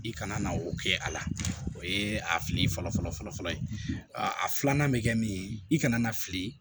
I kana na o kɛ a la o ye a fili fɔlɔ fɔlɔ ye a filanan bɛ kɛ min ye i kana na fili